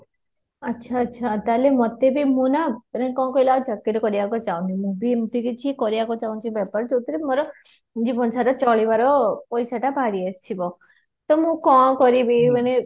ଆଛା, ଆଛା ଥଲେ ମତେ ବି ମୁଁ ନା ମାନେ କଣ କହିଲ ଚାକିରି କରିବାକୁ ଚାହୁନି ମୁଁ ବି ଏମିତି କରିବାକୁ ଚାହୁଁଛି ବେପାର ଯୋଉଥିରେ ମୋର ଜିବନ ସାରା ଚାଳିବାର ପଇସା ଟା ବାହାରି ଆସିବ ତ ମୁଁ କଣ କରିବି ମାନେ